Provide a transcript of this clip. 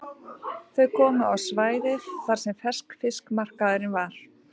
Þau komu á svæðið þar sem ferskfiskmarkaðurinn var.